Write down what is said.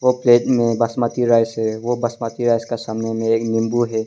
Plate में basmati rice है वो बासमती राइस का सामने में एक नींबू है।